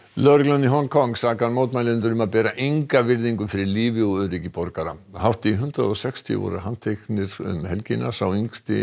lögreglan í Hong Kong sakar mótmælendur um að bera enga virðingu fyrir lífi og öryggi borgara hátt í hundrað og sextíu voru handteknir um helgina sá yngsti